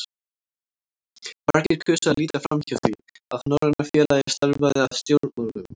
Margir kusu að líta framhjá því, að Norræna félagið starfaði að stjórnmálum.